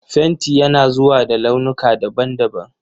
Fenti yana zuwa da launuka daban-daban.